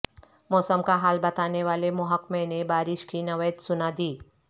موسم کا حال بتانے والے محکمے نے بارش کی نوید سنادی